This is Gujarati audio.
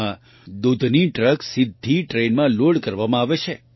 આમાં દૂધની ટ્રક સીધી ટ્રેનમાં લોડ કરવામાં આવે છે